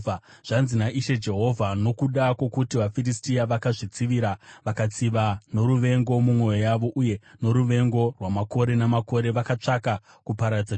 “Zvanzi naIshe Jehovha: ‘Nokuda kwokuti vaFiristia vakazvitsivira vakatsiva noruvengo mumwoyo yavo, uye noruvengo rwamakore namakore vakatsvaka kuparadza Judha,